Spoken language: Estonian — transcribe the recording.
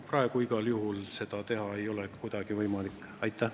Praegu ei ole seda igal juhul kuidagi võimalik teha.